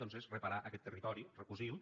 doncs és reparar aquest territori recosirlo